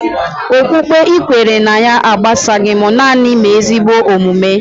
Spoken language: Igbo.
Okpukpe ị kwere ná ya agbasaghi m, nanị mee ezigbo omume